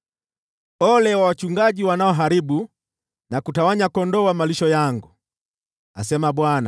“Ole wao wachungaji wanaoharibu na kutawanya kondoo wa malisho yangu!” asema Bwana .